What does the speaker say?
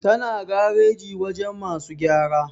tana gareji wajen masu gyara